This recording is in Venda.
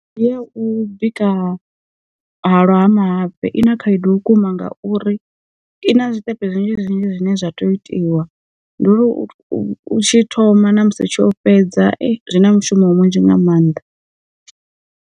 Ndi ya u bika hwalwa ha mahafhe i na khaedu vhukuma ngauri, i na zwiṱepe zwinzhi zwinzhi zwine zwa tea u itiwa ndi u tshi thoma ṋamusi tsho fhedza zwi na mushumo munzhi nga maanḓa.